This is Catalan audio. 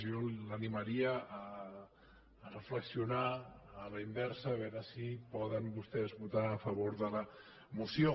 jo l’animaria a reflexionar a la inversa a veure si poden vostès votar a favor de la moció